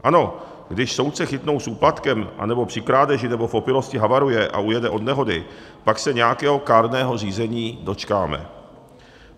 Ano, když soudce chytnou s úplatkem anebo při krádeži nebo v opilosti havaruje a ujede od nehody, pak se nějakého kárného řízení dočkáme.